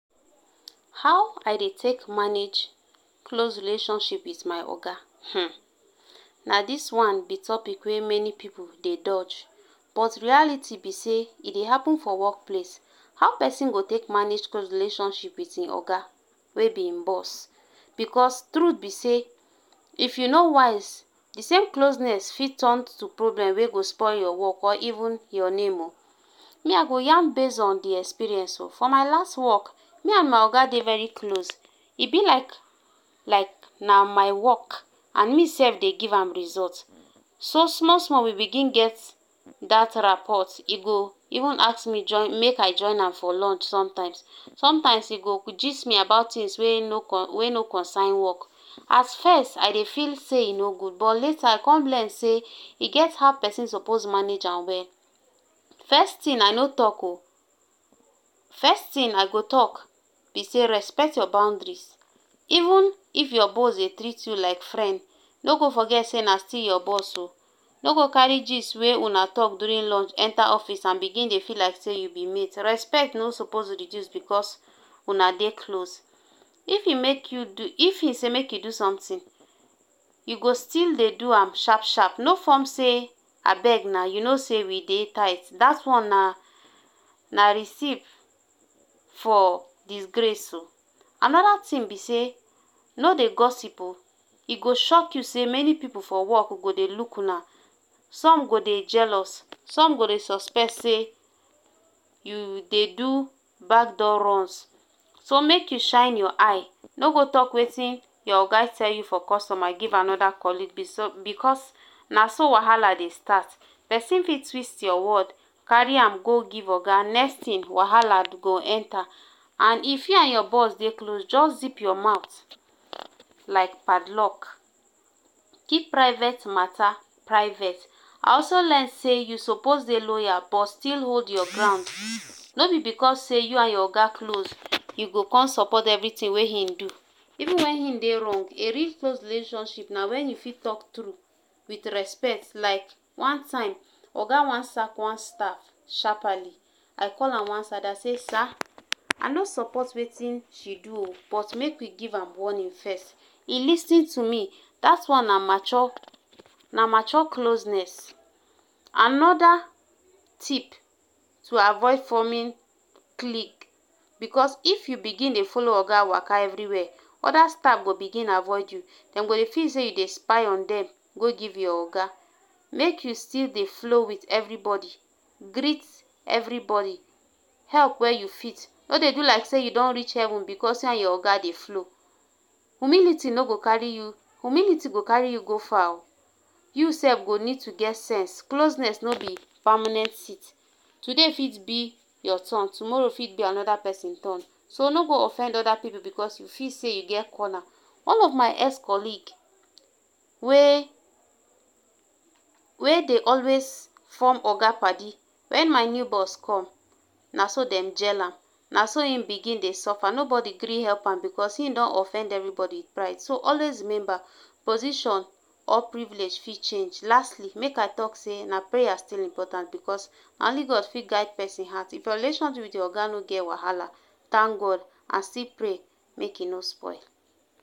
How I dey take manage close relationship with my oga um na dis one be topic wey meni pipu dey doj but reality be sey, e dey happen for work place. How pesin go take manage close relationship with im oga wey be im boss? Because true be sey, if you no wise, the same closeness fit turn to problem wey go spoil your work or even your name um me I go yarn base on di experience um for my last work, me and my oga dey very close, e be like like na my work and me sef dey give am result. So small small we begin get dat rapot. E go even ask me join make I join am for lunch sometimes sometimes e go gist me about tins wey no coin wey no coinsign work, at first, I dey feel sey e no gud but lata I con learn sey, e get how pesin sopos manage am well. First tin, I no talk um first tin I go talk be say respect your boundaries even if your boss dey treat you like frend no go foget sey na still your boss um no go kari gist wey una talk durin lunch enta office and bigin dey feel like sey you be mate. Respect no suppose reduce because una dey close if e make you if e say make you do do somtin, you go still dey do am sharp sharp, no form sey, abeg na you know sey we dey tight.dat one na na receip for disgrace. Anoda tin be sey, no dey gossip um e go shock you sey meni pipu for work go dey luk una. Some go dey jealous, som go dey suspect sey, you dey do back door runs, so make you shine your eye. No go talk wetin your oga tell you for customa give anoda colig because na so wahala dey start. Pesin fit trist your word, kari am go give oga, next tin wahala go enta and if you and your boss dey close, just zip your mouth like padlock, kip private mata private, I also learn sey you sopos dey loyal but still hold your ground. No be because sey you and your oga close you go con sopot everitin wey im do. Even wen im dey rong, a real close relationship na wen you talk true with respect, like one time, oga wan sack one staff sharpaly I call am one side, I sey sir, I no sopot wetin she do um but make we give am warnin first, e lis ten to me, dat one na mature na mature closeness. Anoda tip to avoid formin cliq because if you begin dey folo oga waka everi wia, oda staf go bigin avoid you, dem go dey feel sey you dey spy on dem go give your oga. Make you still dey flow with everi bodi, greet everi bodi, help wia you fit no dey do like sey you don reach heaven because you and your oga dey flow. Humility no go kari you Humility go kari you go far um you sef go need to get sense, closeness no be pamanent sit, today fit be your ton, tomoro fit be anoda pesin ton, so no go offend oda pipu because you feel sey you get corna. One of my ex-colig, wey wey dey always form oga padi, wen my new boss come, naso dem jell am, na so im begin dey sofa nobodi gree help am becos im don offend everibodi pride so always rememba position or privilege fit change. Lastli make I talk sey na praya still important because na only god fit guide pesin heart, if your relationship with your oga no get wahala, tank god and still pray make e no spoil.